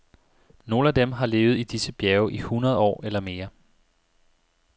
Nogle af dem har levet i disse bjerge i hundrede år eller mere.